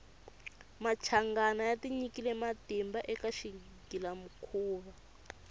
machangana ya tinyike matimba eka xighila mukhuva